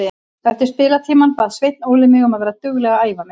Eftir spilatímann bað Sveinn Óli mig um að vera dugleg að æfa mig.